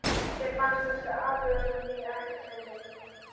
Þeim fannst þessi athugasemd mín ekkert fyndin.